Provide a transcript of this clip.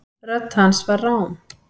Rödd hans var rám.